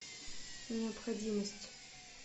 необходимость